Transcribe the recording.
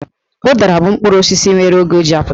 Ụdara bụ mkpụrụ osisi nwere oge o ji apụta.